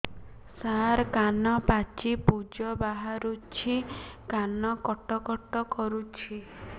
ସାର କାନ ପାଚି ପୂଜ ବାହାରୁଛି କାନ କଟ କଟ କରୁଛି